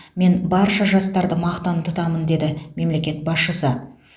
мен барша жастарды мақтан тұтамын деді мемлекет басшысы